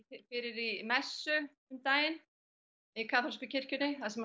fyrir í messu um daginn í kaþólsku kirkjunni þar sem